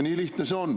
Nii lihtne see on.